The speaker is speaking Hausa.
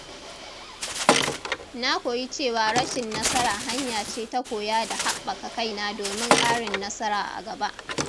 Na koyi cewa rashin nasara hanya ce ta koya da haɓaka kaina domin karin nasara a gaba.